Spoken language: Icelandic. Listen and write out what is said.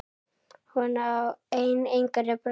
Hún á einn yngri bróður.